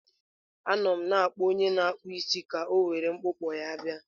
Anọ m na-akpọ onye na-akpụ isi ka o were mkpụkpọ ya bịa.